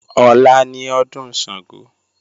Ọ̀la ni ọdún Ṣàngó